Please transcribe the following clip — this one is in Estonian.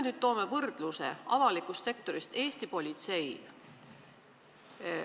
Toome võrdluse avalikust sektorist – Eesti politsei.